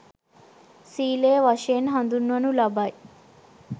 සීලය වශයෙන් හඳුන්වනු ලබයි.